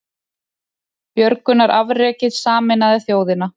Björgunarafrekið sameinaði þjóðina